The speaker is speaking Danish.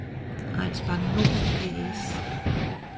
Egnsbank Nord A/S